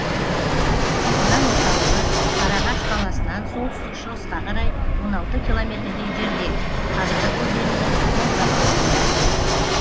аудан орталығы сарыағаш қаласынан солтүстік шығысқа қарай он алты километрдей жерде ханарық өзенінің оң жағалауында